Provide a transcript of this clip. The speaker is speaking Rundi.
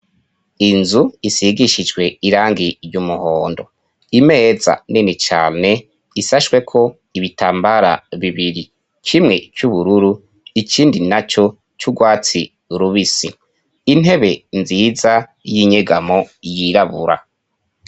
Inzu isigishijwe irangi ry'umuhondo, imeza nini cane isashweko ibitambara bibiri kimwe c'uburundi ikindi naco c'urwatsi rubisi, intebe nziza y'inyegamo yirabura.